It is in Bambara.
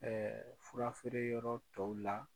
Ɛɛ fura feere yɔrɔ tɔw la.